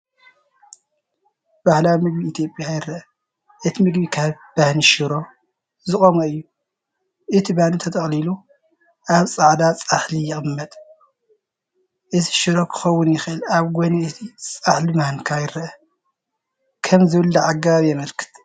ባህላዊ ምግቢ ኢትዮጵያ ይረአ። እቲ ምግቢ ካብ ባኒን ሽሮን (ስጋ ወይ ሽሮ) ዝቖመ እዩ። እቲ ባኒ ተጠቕሊሉ ወይ ተጠቕሊሉ ኣብ ጻዕዳ ጻሕሊ ይቕመጥ። እዚ ሽሮ ክኸውን ይኽእል። ኣብ ጎኒ እቲ ጻሕሊ ማንካ ይርአ፣ ከም ዝብላዕ ኣገባብ የመልክት።